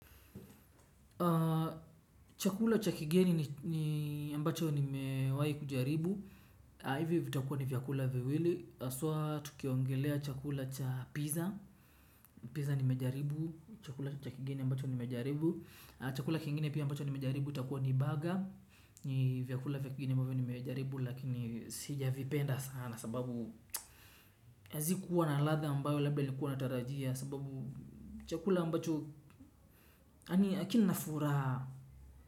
Chakula cha kigeni ambacho nimewahi kujaribu ivi vitakua ni vyakula viwili haswaa tukiongelelea chakula cha pizza Pizza nimejaribu. Chakula cha kigeni ambacho nimejaribu. Chakula kingine pia ambacho nimejaribu. Itakua ni baga. Ni vyakula vingine ambavyoo nimejaribu. Lakini sijavipenda sana. Sababu hazikuwa na ladha ambayo labda nilikuwa natarajia. Sababu chakula ambacho yani akina furaha.